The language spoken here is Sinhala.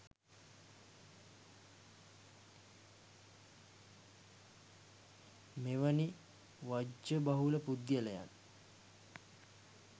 මෙවැනි වජ්ජ බහුල පුද්ගලයන්